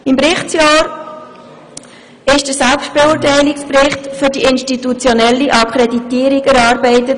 Im Berichtsjahr wurde der Selbstbeurteilungsbericht für die institutionelle Akkreditierung erarbeitet.